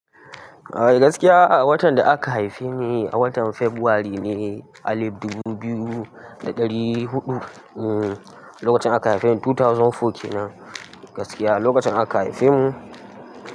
Eh gaskiya, watan da aka haife ni a watan Fabrairu ne a alif dubu biyu da ɗari huɗu. Eh, lokacin aka haife ni two thousand four ke nan gaskiya lokacin aka haife mu.